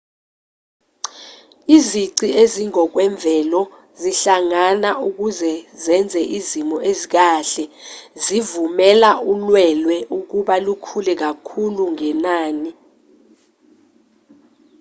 izici ezingokwemvelo zingahlangana ukuze zenze izimo ezikahle ezivumela ulwelwe ukuba lukhule kakhulu ngenani